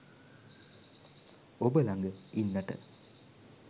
ඔබ ළඟ ඉන්නට